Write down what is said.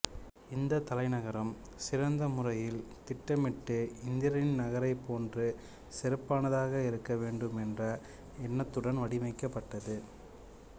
இந்தத் தலைநகரம் சிறந்த முறையில் திட்டமிட்டு இந்திரனின் நகரைப் போன்று சிறப்பானதாக இருக்க வேண்டும் என்ற எண்ணத்துடன் வடிவமைக்கப்பட்டது